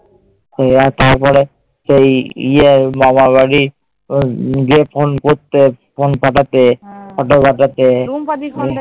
তারপরে সেই ইয়ে মামাবাড়ি গিয়ে phone করতে, phone পাঠাতে, photo পাঠাতে